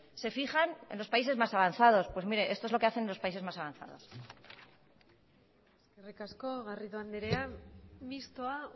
se fijan en los países más avanzados pues miren esto es lo que hacen los países más avanzados eskerrik asko garrido andrea mistoa